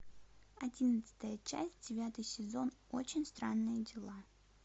одиннадцатая часть девятый сезон очень странные дела